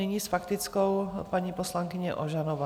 Nyní s faktickou paní poslankyně Ožanová.